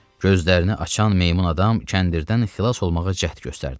Gözlərini açan meymun adam kəndirdən xilas olmağa cəhd göstərdi.